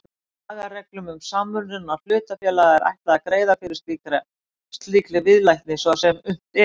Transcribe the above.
Lagareglum um samruna hlutafélaga er ætlað að greiða fyrir slíkri viðleitni svo sem unnt er.